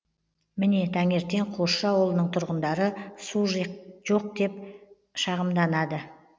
міне таңертең қосшы ауылының тұрғындары су жоқ деп шағымданады